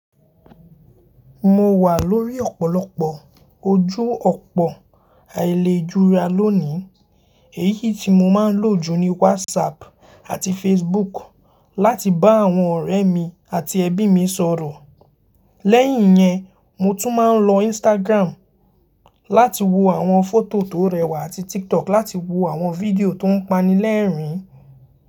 Mo wà lórí ọ̀pọ̀lọpọ̀ ojú ọ̀pọ̀ àìlejurà lónìí. Èyí tí mo máa ń lò jù ni WhatsApp àti Facebook láti bá àwọn ọ̀rẹ́ mi àti ẹbí mi sọ̀rọ̀. Lẹ́yìn yẹn, mo tún máa ń lo Instagram láti wo àwọn fọ́tò tó rẹwà àti TikTok láti wo àwọn fídíò tó ń panilẹ́rìn-ín.